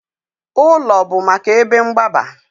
Ụlọ bụ maka ebe mgbaba